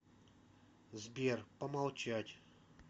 сбер помолчать